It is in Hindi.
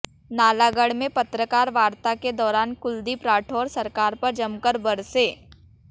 नालागढ़ में पत्रकार वार्ता के दौरान कुलदीप राठौर सरकार पर जमकर बरसे